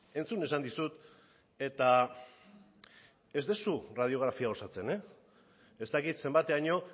entzun esan dizut eta ez duzu erradiografia osatzen ez dakit zenbateraino